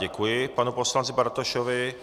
Děkuji panu poslanci Bartošovi.